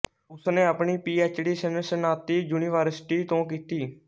ਉਸਨੇ ਆਪਣੀ P H D Cincinnati university ਤੋਂ ਕੀਤੀ